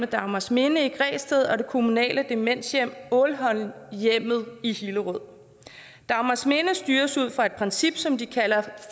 dagmarsminde i græsted og det kommunale demenshjem ålholmhjemmet i hillerød dagmarsminde styres ud fra et princip som de kalder